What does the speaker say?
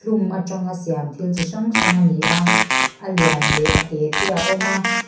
hlum atanga siam thil chi hrang hrang ani a a lian leh a te te a awm a.